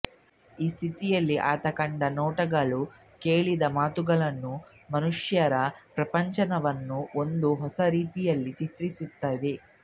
ಈ ಸ್ಥಿತಿಯಲ್ಲಿ ಆತ ಕಂಡ ನೋಟಗಳೂ ಕೇಳಿದ ಮಾತುಗಳೂ ಮನುಷ್ಯರ ಪ್ರಪಂಚವನ್ನು ಒಂದು ಹೊಸ ರೀತಿಯಲ್ಲಿ ಚಿತ್ರಿಸುತ್ತವೆ